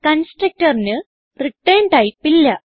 Constructorന് return type ഇല്ല